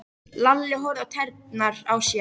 Lalli horfði á tærnar á sér.